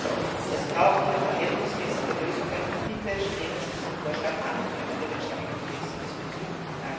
Also, es braucht hier verhältnismäßige Lösungen, und bitte nehmen Sie diesen Vorschlag an, und ändern wir den Schengen Kodex diesbezüglich.